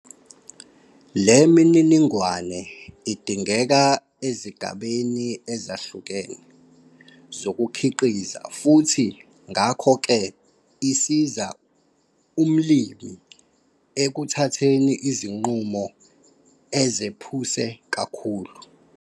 Le mininingwane idingeka ezigabeni ezahlukene zokukhiqiza futhi ngakho ke isiza umlimi ekuhatheni izinqumo ezephuse kakhulu.